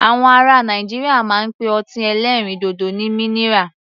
Àwọn ará Nàìjíríà máa ń pe ọtí ẹlẹ́rìndòdò ní minira.